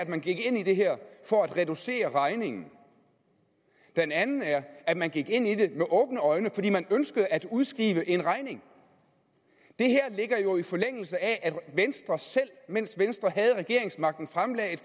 at man gik ind i det her for at reducere regningen og den anden er at man gik ind i det med åbne øjne fordi man ønskede at udskrive en regning det her ligger jo i forlængelse af at venstre selv mens venstre havde regeringsmagten fremsatte